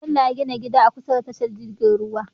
Bello ya gina gida a kusa da tashar jirgin ruwa